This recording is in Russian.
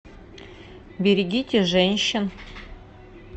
берегите женщин